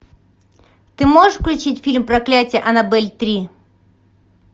ты можешь включить фильм проклятие аннабель три